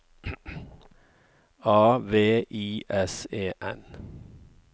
A V I S E N